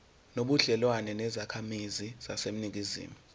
nobudlelwane nezakhamizi zaseningizimu